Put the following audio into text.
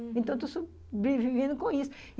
Então, eu estou sobrevivendo com isso.